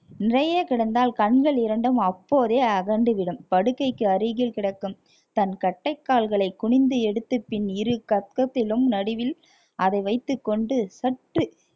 நிறைய கிடந்தால் கண்கள் இரண்டும் அப்போதே அகண்டு விடும் படுக்கைக்கு அருகில் கிடக்கும் தன் கட்டைக்கால்களை குனிந்து எடுத்து பின் இரு கக்கத்திலும் நடுவில் அதை வைத்துக் கொண்டு சற்று